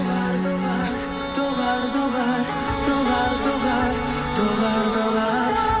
доғар доғар доғар доғар доғар доғар доғар доғар